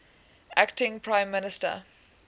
acting prime minister